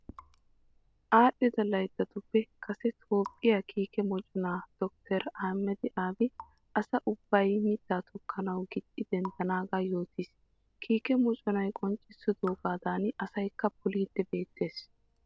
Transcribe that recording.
Aadhdhida layttatuppe kase Toophphiyaa kiike moconaa dottoriyaa Ahimada Abi asa ubbay mittaa tokkanawu gixxi denddanaagaa yootiis. Kiike moconay qonccissidoogaadan asaykka poliiddi beettees.